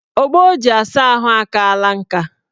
Ogbo o ji asa ahụ akaala nka.